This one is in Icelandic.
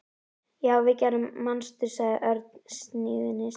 Já, við og Gerður, manstu? sagði Örn stríðnislega.